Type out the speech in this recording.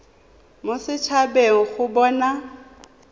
mo set habeng go bona